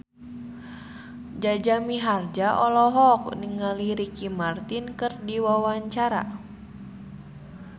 Jaja Mihardja olohok ningali Ricky Martin keur diwawancara